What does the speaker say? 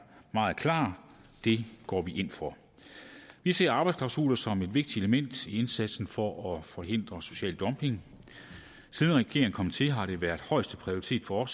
meget klar det går vi ind for vi ser arbejdsklausuler som et vigtigt element i indsatsen for at forhindre social dumping siden regeringen kom til har det været højeste prioritet for